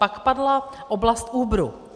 Pak padla oblast Uberu.